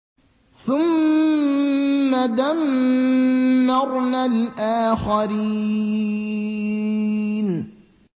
ثُمَّ دَمَّرْنَا الْآخَرِينَ